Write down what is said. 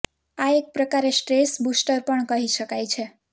આ એક પ્રકારે સ્ટ્રેસ બુસ્ટર પણ કહી શકાય છે